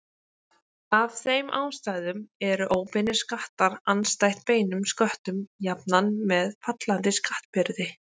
Af þeim ástæðum eru óbeinir skattar andstætt beinum sköttum jafnan með fallandi skattbyrði.